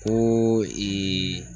Koo